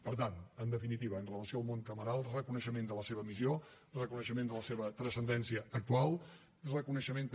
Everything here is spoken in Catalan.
per tant en definitiva amb relació al món cameral reconeixement de la seva missió reconeixement de la seva transcendència actual i reconeixement també